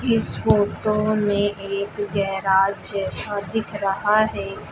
इस फोटो में एक गैराज जैसा दिख रहा है।